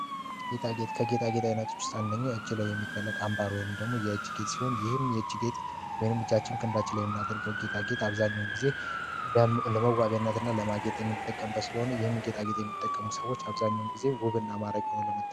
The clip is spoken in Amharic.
ጌጣጌጥ ከጌጣጌጥ ዓይነቶች ዉስጥ አንደኛው የእጅ ላይ የሚጠለቅ አንባር ወይን የእጅጌጥ ሲሆን ይህም የእጅጌትጥ ወይንም እጃችን፣ ክንዳችን፣ ላይ የምናጠልቀው ጌጣጌጥ አብዛኛውን ጊዜ ለመዋቢያነት እና ለማጌጥ የሚጠቀም ስለሆነ ይህን ጌጣጌጥ የሚጠቀሙ ሰዎች አብዛኛውን ጊዜ ውብ እና ማራኪ ይሆናሉ ማለት ነው።